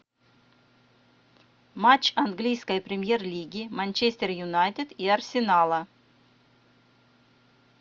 матч английской премьер лиги манчестер юнайтед и арсенала